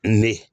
Ne